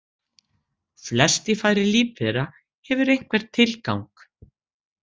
Flest í fari lífvera hefur einhvern tilgang.